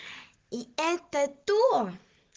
и это то